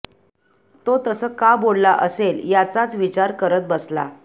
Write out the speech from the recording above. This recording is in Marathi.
तो तसं का बोलला असेल याचाच विचार करत बसला